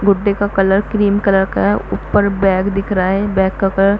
गुड्डे का colour cream colour का है ऊपर बैग दिख रहा है बैग का कलर --